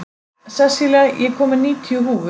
Sessilía, ég kom með níutíu húfur!